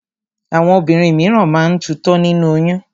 Àwọn obìnrin míràn máa ń tutọ́ nínú oyún.